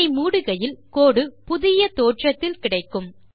இதை மூடுகையில் கோடு புதிய தோற்றத்தில் கிடைக்கும்